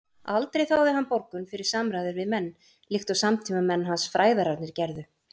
Aldrei þáði hann borgun fyrir samræður við menn, líkt og samtímamenn hans fræðararnir gerðu.